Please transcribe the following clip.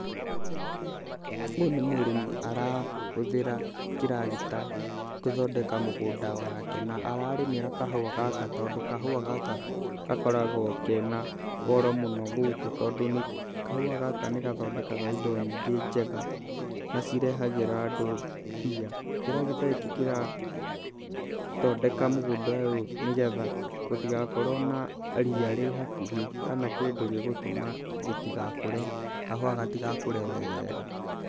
Ũyũ nĩ mũrĩmi arahũthĩra kĩragita gũthondeka mũgũnda wake na ararĩmĩra kahũa gaka, tondũ kahũa gaka gakoragwo kena goro mũno gũkũ tondũ kahũa gaka nĩ gathondekaga indo nyingĩ njega na cirehagĩra andũ mbia. Kĩragita gĩkĩ kĩrathondeka mũgũnda ũyũ, nĩgetha gũtigakorwo na ria rĩ hakuhĩ kana kĩndũ gĩgũtũma gĩtĩgakũre, kahũa gatigakũre wega.